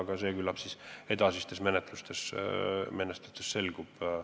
Aga küllap see edasistes menetlustes selgub.